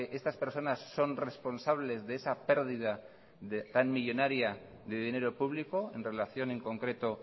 estas personas son responsables de esa pérdida tan millónaria de dinero público en relación en concreto